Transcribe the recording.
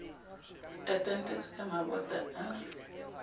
a tantetswe ka mabota a